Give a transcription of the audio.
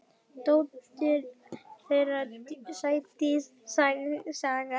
Dóttir þeirra: Sædís Saga.